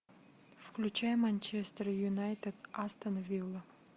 включай манчестер юнайтед астон вилла